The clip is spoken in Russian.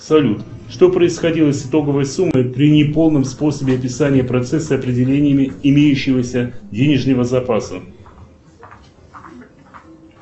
салют что происходило с итоговой суммой при не полном способе описания процесса определениями имеющегося денежного запаса